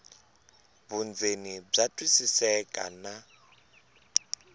vundzeni bya twisiseka na